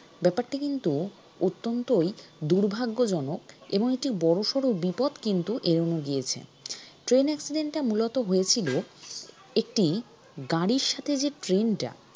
ব্যাপারটি কিন্তু অত্যন্তই দুর্ভাগ্যজনক এবং একটি বড়োসড়ো বিপদ কিন্তু এড়োনো গিয়েছে train accident টা মূলত হয়েছিল একটি গাড়ির সাথে যে train টা